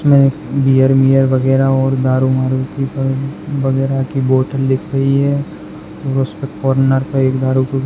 इसमे बीयर वियर वगेरा और दारू वारु की वगेरा की बोटल दिख रही है और उसपे कोर्नर पे एक दारू की --